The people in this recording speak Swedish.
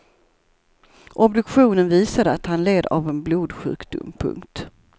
Obduktionen visade att han led av en blodsjukdom. punkt